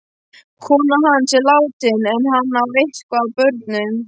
Konan hans er látin en hann á eitthvað af börnum.